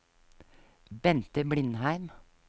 Bente Blindheim